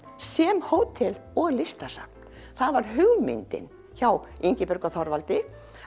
sem hótel og listasafn það var hugmyndin hjá Ingibjörgu og Þorvaldi